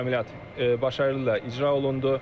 Əməliyyat uğurla icra olundu.